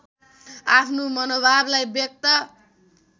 आफ्नो मनोभावलाई व्यक्त